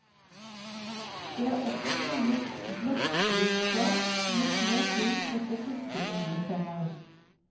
Det er også funnet blekksprutskall med små hull etter fiskeøgletenner.